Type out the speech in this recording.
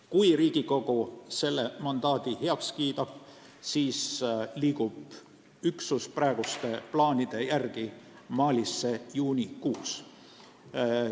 Kui Riigikogu selle mandaadi heaks kiidab, siis sõidab üksus praeguste plaanide järgi Malisse juunikuus.